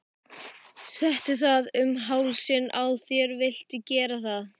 Settu það um hálsinn á þér viltu gera það?